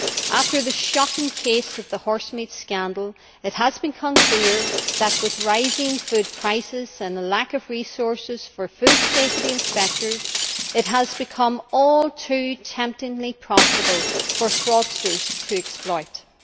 After the shocking case of the horsemeat scandal, it became clear that, with rising food prices and the lack of resources for food safety inspectors, it has become all too temptingly profitable for fraudsters to engage in exploitation.